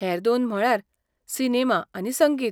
हेर दोन म्हळ्यार सिनेमा आनी संगीत.